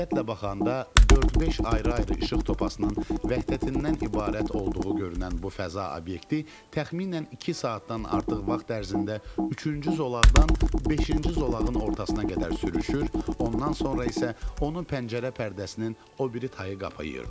Diqqətlə baxanda dörd-beş ayrı-ayrı işıq topasının vəhdətindən ibarət olduğu görünən bu fəza obyekti təxminən iki saatdan artıq vaxt ərzində üçüncü zolaqdan beşinci zolağın ortasına qədər sürüşür, ondan sonra isə onu pəncərə pərdəsinin o biri tayı qapayırdı.